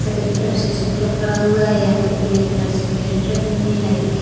सफेद कलर से स्कूटर खड़ा हुआ है। यहां पर पीले कलर से कैरेट रखी हुई हैं। लाइट के --